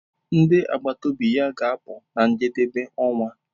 Ndi agbata obi ya ga-apụ na njedebe ọnwa.